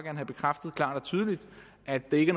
have bekræftet klart og tydeligt at det ikke